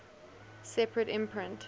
separate imprint